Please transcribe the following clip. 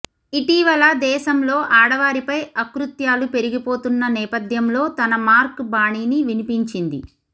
ఇటీవల దేశంలో ఆడవారిపై అకృత్యాలు పెరిగిపోతున్న నేపథ్యంలో తన మార్క్ బాణీని వినిపించింది